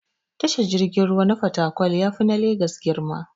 Tashar jirgin ruwa na fatakwal yafi na legas girma.